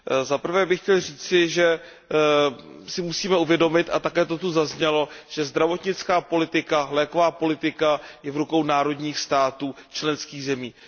Za prvé bych chtěl říci, že si musíme uvědomit, a také to tu zaznělo, že zdravotnická politika, léková politika je v rukou národních států členských zemích.